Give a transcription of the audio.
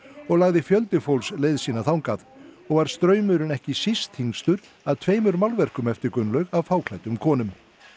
og lagði fjöldi fólks leið sína þangað og var straumurinn ekki síst þyngstur að tveimur málverkum eftir Gunnlaug af fáklæddum konum